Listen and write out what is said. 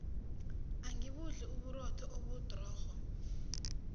angibudli uburotho obudrorho